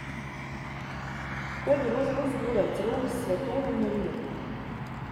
To je bilo zelo zgodaj, celo v svetovnem merilu.